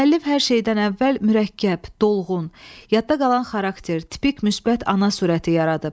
Müəllif hər şeydən əvvəl mürəkkəb, dolğun, yadda qalan xarakter, tipik müsbət ana surəti yaradıb.